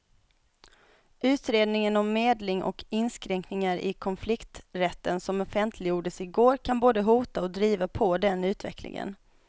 Utredningen om medling och inskränkningar i konflikträtten som offentliggjordes i går kan både hota och driva på den utvecklingen.